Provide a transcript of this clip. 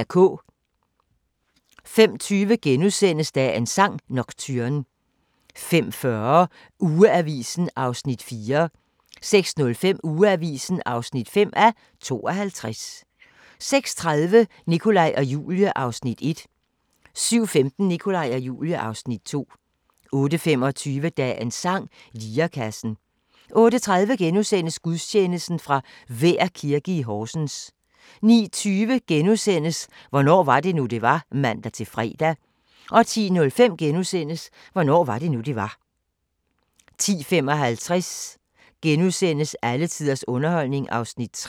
05:20: Dagens sang: Nocturne * 05:40: Ugeavisen (4:52) 06:05: Ugeavisen (5:52) 06:30: Nikolaj og Julie (Afs. 1) 07:15: Nikolaj og Julie (Afs. 2) 08:25: Dagens sang: Lirekassen 08:30: Gudstjeneste fra Vær Kirke, Horsens * 09:20: Hvornår var det nu, det var? *(man-fre) 10:05: Hvornår var det nu, det var? * 10:55: Alle tiders underholdning (3:8)*